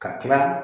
Ka kila